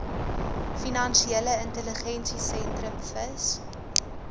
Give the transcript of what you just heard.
finansiële intelligensiesentrum fis